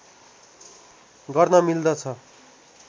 गर्न मिल्दछ